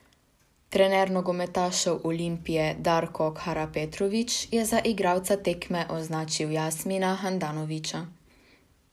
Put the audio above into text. Trener nogometašev Olimpije Darko Karapetrović je za igralca tekme označil Jasmina Handanovića.